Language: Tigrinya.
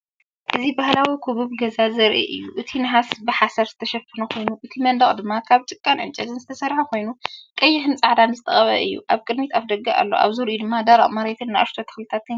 እዚ ባህላዊ ክቡብ ገዛ ዘርኢ እዩ። እቲ ናሕሲ ብሓሰር ዝተሸፈነ ኮይኑ፡ እቲ መናድቕ ድማ ካብ ጭቃን ዕንጨይትን ዝተሰርሐ ኮይኑ ቀይሕን ጻዕዳን ዝተቐብአ እዩ። ኣብ ቅድሚት ኣፍደገ ኣሎ፣ ኣብ ዙርያኡ ድማ ደረቕ መሬትን ንእሽቶ ተክልታት ይርአ።